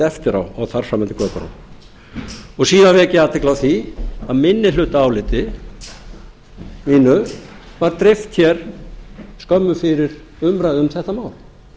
á og þar fram eftir götunum síðan vek ég athygli á því að minnihlutaáliti mínu var dreift hér skömmu fyrir umræðu um þetta mál